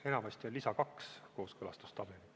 Enamasti on lisas 2 kooskõlastustabelid.